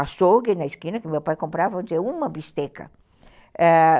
Açougue na esquina, que meu pai comprava, vamos dizer, uma bisteca.